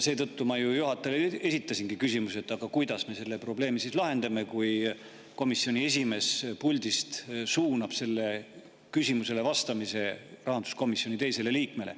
Seetõttu ma ju esitasingi juhatajale küsimuse, kuidas me selle probleemi siis lahendame, kui komisjoni esimees puldist suunab sellele küsimusele vastamise rahanduskomisjoni teisele liikmele.